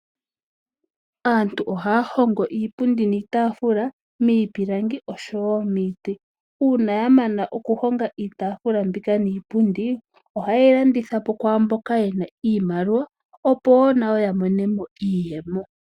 Aantu ohaya hongo iipundi niitafula miipilangi osho woo miiti. Uuna yamana oku honga iitaafula mbika niipundi, oha yeyi landithapo kwaamboka yena iimaliwa opo woo nayo ya monemo iiyemo.